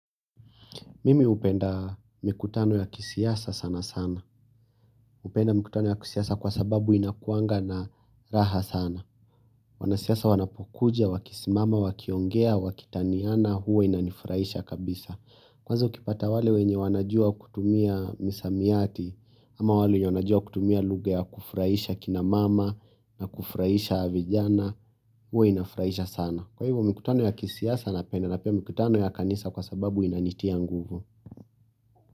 Mimi hupenda mkutano ya kisiasa sana sana. Hupenda mkutano ya kisiasa kwa sababu inakuanga na raha sana. Wanasiasa wanapokuja wakisimama, wakiongea, wakitaniana huwa inanifurahisha kabisa kwanza ukipata wale wenye wanajua kutumia misamiati ama wale wanajua kutumia lugha ya kufurahisha kinamama na kufurahisha vijana, huwa inafurahisha sana. Kwa hivyo mkutano ya kisiasa napenda na pia mkutano ya kanisa kwa sababu inanitia nguvu.